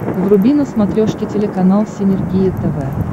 вруби на смотрешке телеканал синергия тв